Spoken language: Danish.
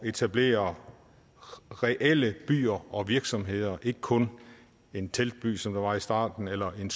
etablere reelle byer og virksomheder og ikke kun en teltby som det var i starten eller en